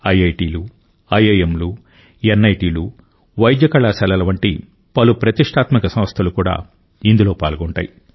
ఐఐటీలు ఐఐఎంలు ఎన్ఐటీలు వైద్య కళాశాలల వంటి పలు ప్రతిష్టాత్మక సంస్థలు కూడా ఇందులో పాల్గొంటాయి